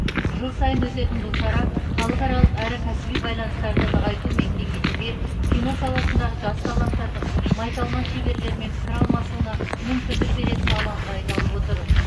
жыл сайын өтетін бұл шара халықаралық әрі кәсіби байланыстарды нығайту мен кеңейтуге кино саласындағы жас таланттардың майталман шеберлермен пікір алмасуына мүмкіндік беретін алаңға айналып отыр